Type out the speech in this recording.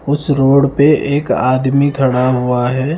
उस रोड पे एक आदमी खड़ा हुआ है।